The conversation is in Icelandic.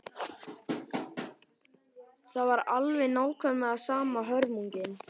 Það var alveg nákvæmlega sama hörmungin.